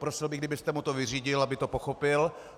Prosil bych, kdybyste mu to vyřídil, aby to pochopil.